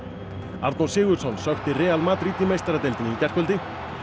Arnór Sigurðsson sökkti Real Madrid í meistaradeildinni í gærkvöldi